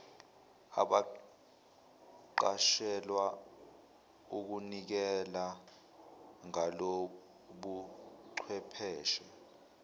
abaqashelwa ukunikela ngalobuchwepheshe